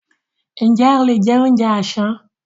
Ǹjẹ́ o lè jẹ oúnjẹ àsán?